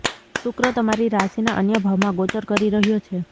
શુક્ર તમારી રાશિના અન્ય ભાવમાં ગોચર કરી રહ્યો છે